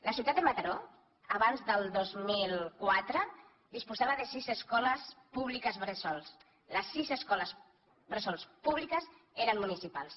la ciutat de mataró abans del dos mil quatre disposava de sis escoles públiques bressol les sis escoles bressol públiques eren municipals